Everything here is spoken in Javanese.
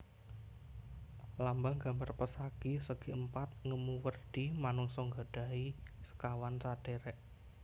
Lambang gambar pesagi segiempat ngemu werdi manungsa nggadhahi sekawan sadhérék